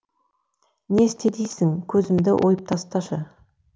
не істе дейсің көзімді ойып тасташы